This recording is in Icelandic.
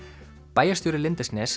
bæjarstjóri